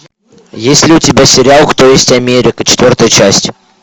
есть ли у тебя сериал кто есть америка четвертая часть